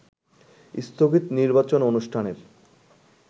স্থগিত নির্বাচন অনুষ্ঠানের